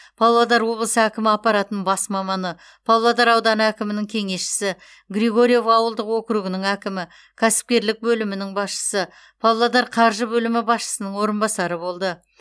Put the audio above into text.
павлодар облысы әкімі аппаратының бас маманы павлодар ауданы әкімінің кеңесшісі григорьев ауылдық округінің әкімі кәсіпкерлік бөлімінің басшысы павлодар қаржы бөлімі басшысының орынбасары болды